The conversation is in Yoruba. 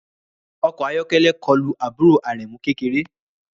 Ọkọ̀ ayọ́kẹ́lẹ́ kọlu àbúrò Aremu kékeré